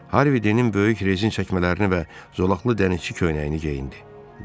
Harvi Denin böyük rezin çəkmələrini və zolaqlı dənizçi köynəyini geyindi.